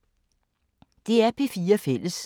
DR P4 Fælles